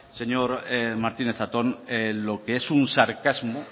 señor martínez zatón lo que es un sarcasmo